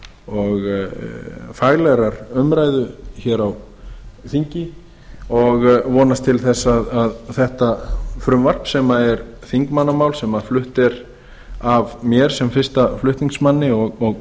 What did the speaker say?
og faglegrar umræðu hér á þingi og vonast til að þetta frumvarp sem er þingmannamál sem er flutt af mér sem fyrsta flutningsmanni og